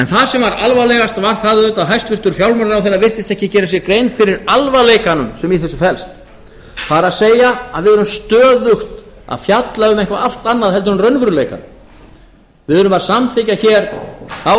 það sem var alvarlegast var það auðvitað að hæstvirtur fjármálaráðherra virtist ekki gera sér grein fyrir alvarleikanum sem í þessu felst það er að við erum stöðugt að fjalla um eitthvað allt annað heldur en raunveruleikann við erum að samþykkja ár